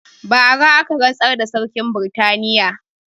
Bara aka rantsar da sarkin britaniya